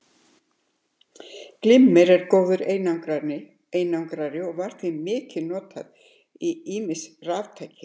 Glimmer er góður einangrari og var því mikið notað í ýmis raftæki.